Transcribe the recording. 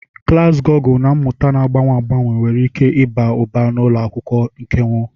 Klas Gugul na mmụta na-agbanwe agbanwe nwere ike ịba ụba n'ụlọ akwụkwọ nkeonwe.